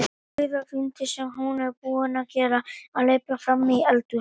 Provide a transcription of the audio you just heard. Rauða glundrið sem hún er búin að vera að lepja frammi í eldhúsi.